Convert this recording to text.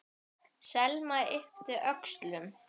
Selma yppti öxlum.